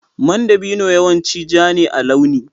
Man dabino yawanci ja ne a launi.